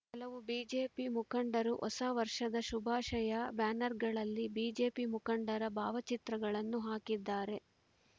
ಕೆಲವು ಬಿಜೆಪಿ ಮುಖಂಡರು ಹೊಸ ವರ್ಷದ ಶುಭಾಷಯ ಬ್ಯಾನರ್‌ಗಳಲ್ಲಿ ಬಿಜೆಪಿ ಮುಖಂಡರ ಭಾವಚಿತ್ರಗಳನ್ನು ಹಾಕಿದ್ದಾರೆ